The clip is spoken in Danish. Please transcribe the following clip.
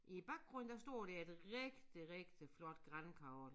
I æ baggrund der står der et rigtig rigtig flot grankogle